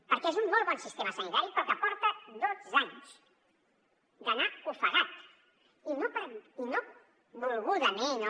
perquè és un molt bon sistema sanitari però que porta dotze anys d’anar ofegat i no volgudament o